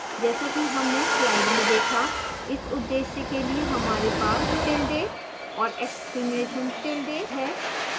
जैसा कि हमने slide में देखा इस उद्देश्य के लिए हमारे पास tilde और exclamation tilde है